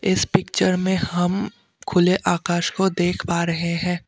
इस पिक्चर में हम खुले आकाश को देख पा रहे हैं।